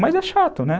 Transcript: Mas é chato, né?